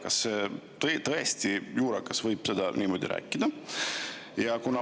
Kas tõesti võib juurakas niimoodi rääkida?